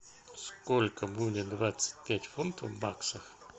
сколько будет двадцать пять фунтов в баксах